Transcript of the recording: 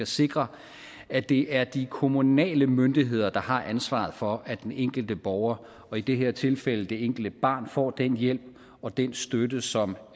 sikre at det er de kommunale myndigheder der har ansvaret for at den enkelte borger og i det her tilfælde det enkelte barn får den hjælp og den støtte som